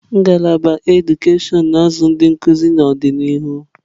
Ngalaba edukashon na-azụ ndị nkuzi n'ọdịnihu.